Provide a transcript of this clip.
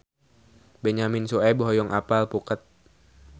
Benyamin Sueb hoyong apal Phuket